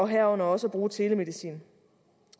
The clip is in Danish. herunder også bruge telemedicin